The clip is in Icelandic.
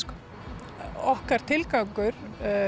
okkar tilgangur